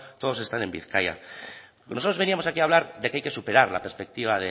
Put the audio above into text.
todos están en bizkaia nosotros veníamos aquí a hablar de que hay que superar la perspectiva